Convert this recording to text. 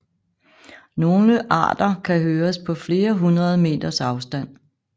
Nogle arter kan høres på flere hundrede meters afstand